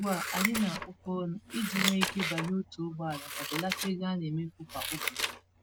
Ugbu a, anyị na apụkọ-ọnụ iji nwe ike banye otu ụgbọala ma belata ego anemefu kwa ụbọchị